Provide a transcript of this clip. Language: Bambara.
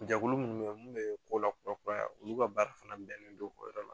Jɛkulu munnu bɛ ye mun bɛ ko lakura kuraya olu ka baara fana bɛnnen do o yɔrɔ ma